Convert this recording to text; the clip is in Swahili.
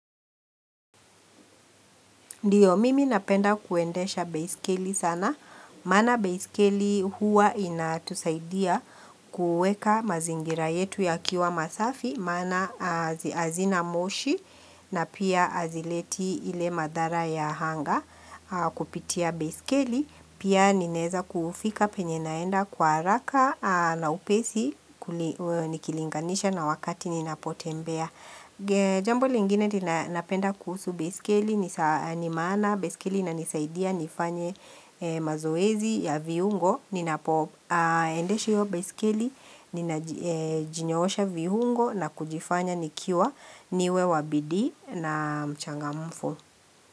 Ndiyo mimi napenda kuendesha baiskeli sana, maana baiskeli huwa inatusaidia kuweka mazingira yetu yakiwa masafi, maana hazina moshi na pia hazileti ile madhara ya anga kupitia baiskeli, pia nineza kufika penye naenda kwa haraka na upesi nikilinganisha na wakati ninapotembea. Jambo lingine ninapenda kuhusu baiskeli, ni saa ni maana, baiskeli inanisaidia nifanye mazoezi ya viungo Ninapoendesha hiyo baiskeli, ninajinyoosha viungo na kujifanya nikiwa niwe wa bidii na mchangamfu.